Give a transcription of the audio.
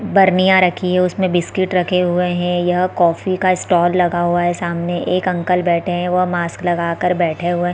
बर्निया रखी है उसमे बिस्कुट रखे हुए है यह कॉफ़ी का स्टाल लगा हुआ है सामने एक अंकल बैठे है वह मास्क लगा कर बैठे हुए--